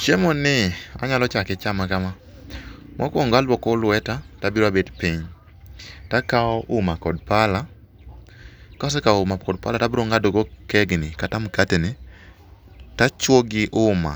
Chiemoni anyalo chame kama, mokuongo luoko lweta to abiro abet piny to akawo uma kod pala. Kase kawo uma kod pala to abiro ng'ado kekni to achuoyo gi uma